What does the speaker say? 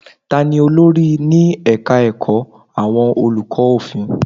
Ta ni olórí ní ẹ̀ka ẹ̀kọ́ àwọn olùkọ́ òfin?